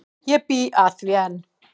Ég bý að því enn.